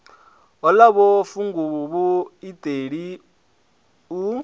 o ḽaho funguvhu iṱeli u